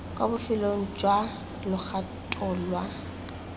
kwa bofelong jwa logato lwa